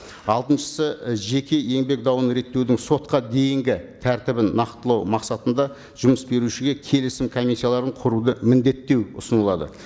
алтыншысы жеке еңбек дауын реттеудің сотқа дейінгі тәртібін нақтылау мақсатында жұмыс берушіге келісім комиссияларын құруды міндеттеу ұсынылады